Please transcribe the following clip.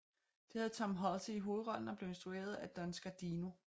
Det havde Tom Hulce i hovedrollen og blev instrueret af Don Scardino